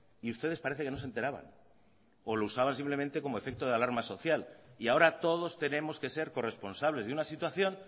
y ustedes parece que no se enteraban o lo usaban simplemente como efecto de alarma social y ahora todos tenemos que ser corresponsables de una situación